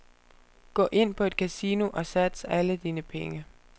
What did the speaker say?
Gå ind på et kasino og sats alle dine penge.